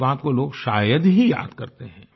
इस बात को लोग शायद ही याद करते हैं